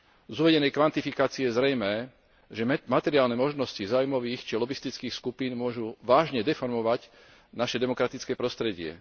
Z uvedenej kvantifikácie je zrejmé, že materiálne možnosti záujmových či lobistických skupín môžu vážne deformovať naše demokratické prostredie.